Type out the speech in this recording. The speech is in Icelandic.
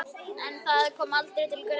En það kom aldrei til greina.